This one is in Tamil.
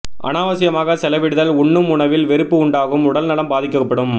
அனாவசியமாக செலவிடுதல் உண்ணும் உணவில் வெறுப்பு உண்டாகும் உடல் நலம் பாதிக்கப்படும்